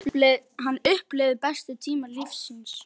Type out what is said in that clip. Hann upplifði bestu tíma lífs síns.